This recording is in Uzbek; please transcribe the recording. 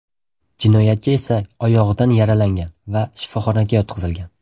Jinoyatchi esa oyog‘idan yaralangan va shifoxonaga yotqizilgan.